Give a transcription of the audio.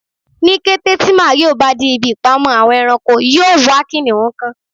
Ni kete ti Mario ba de ibi ipamọ Awon eranko yoo wa kiniun kan